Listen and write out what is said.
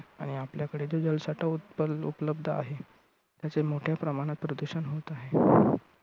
आणि आपल्याकडे जो जल साठा उत्पलउपलब्ध आहे, त्याचे मोठ्या प्रमाणात प्रदूषण होत आहे.